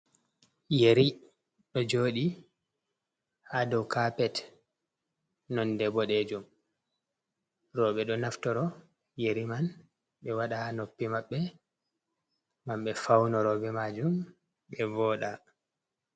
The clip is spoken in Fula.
Yeri ɗo jooɗi ha dou kapet, nonde boɗeejum, rooɓe ɗo naftoro yeri man ɓe waɗa ha noppi maɓɓe ngam ɓe faunoro be majum ɓe vooɗa